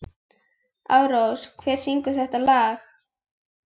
Ásrós, hver syngur þetta lag?